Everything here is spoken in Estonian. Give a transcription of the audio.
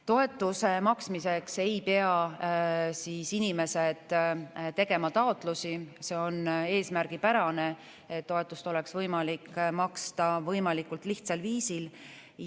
Toetuse maksmiseks ei pea inimesed tegema taotlusi, see on eesmärgipärane, et toetust oleks võimalik maksta võimalikult lihtsal viisil.